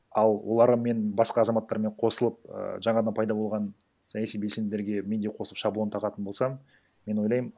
ал олармен басқа азаматтармен косылып і жаңадан пайда болған саяси белсенділерге мен де қосып шаблон тағатын болсам мен ойлаймын